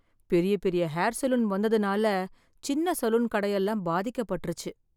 பெரிய பெரிய hair salon வந்ததுனால சின்ன சலூன் கடை எல்லாம் பாதிக்கப்பட்டிருச்சு.